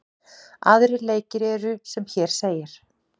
Aðrir leikir eru sem hér segir: